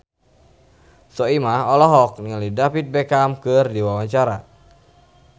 Soimah olohok ningali David Beckham keur diwawancara